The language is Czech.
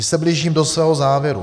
Už se blížím do svého závěru.